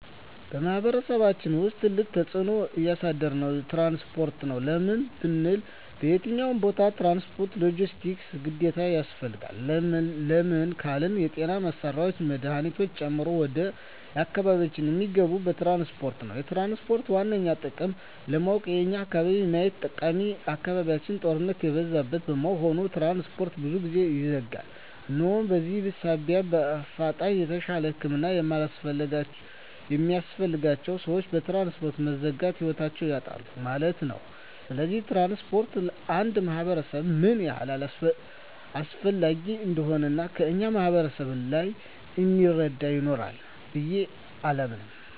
በማሕበረሰቡ ውስጥ ትልቅ ተፅዕኖ እያሳደረ ያለዉ ትራንስፖርት ነዉ። ለምን ብንል በየትኛዉም ቦታ ትራንስፖርት(ሎጀስቲክስ) ግዴታ ያስፈልጋል። ለምን ካልን የጤና መሳሪያወች መድሀኒቶችን ጨምሮ ወደ አካባቢያችን እሚገቡት በትራንስፖርት ነዉ። የትራንስፖርትን ዋነኛ ጥቅም ለማወቅ የኛን አካባቢ ማየት ጠቃሚ አካባቢያችን ጦርነት የበዛበት በመሆኑ ትራንስፖርት ብዙ ጊዜ ይዘጋል እናም በዚህ ሳቢያ በአፋጣኝ የተሻለ ህክምና የሚያስፈልጋቸዉ ሰወች በትራንስፖርት መዘጋት ህይወታቸዉን ያጣሉ ማለት ነዉ። ስለዚህ ትራንስፖርት ለአንድ ማህበረሰብ ምን ያህል አስፈላጊ እንደሆነ ከእኛ ማህበረሰብ በላይ እሚረዳ ይኖራል ብየ አላምንም።